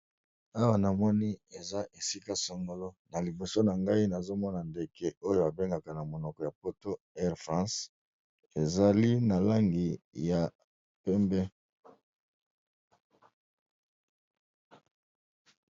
Awa na moni eza esika songolo na liboso na ngai nazo mona ndeke oyo ba bengaka na monoko ya poto air france, ezali na langi ya pembe.